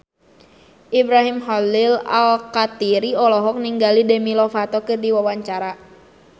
Ibrahim Khalil Alkatiri olohok ningali Demi Lovato keur diwawancara